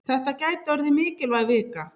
Þetta gæti orðið mikilvæg vika.